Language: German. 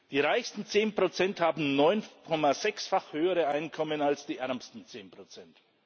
Die reichsten zehn Prozent haben 9,6 fach höhere Einkommen als die ärmsten zehn Prozent.